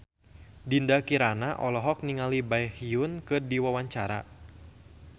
Dinda Kirana olohok ningali Baekhyun keur diwawancara